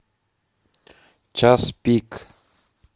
час пик